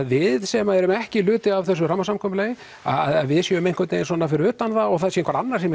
við sem erum ekki hluti af þessu rammasamkomulagi að við séum fyrir utan það og það sé einhver annar sem